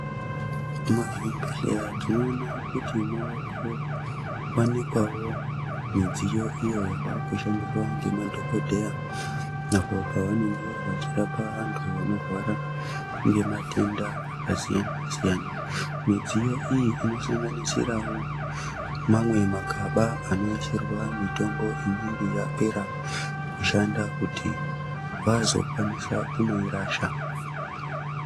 Muzvibhehlera tinoone kuti mavakuwanikwawo midziyo iyo yavakushandiswa ngemadhogodheya apo pavanenge vachirapa vantu vanorwara ngematenda akasiyana-siyana. Midziyo iyi inosanganisirawo mamwe magaba anoisirwa mitombo inenge yapera kushanda kuti vazokwanisa kunoirasha.